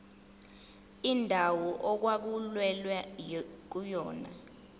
indawo okwakulwelwa kuyona